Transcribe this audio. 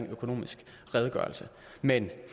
økonomisk redegørelse men